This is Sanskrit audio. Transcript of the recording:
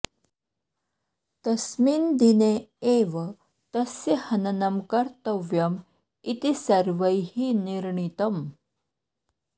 तस्मिन् दिने एव तस्य हननं कर्तव्यम् इति सर्वैः निर्णीतम्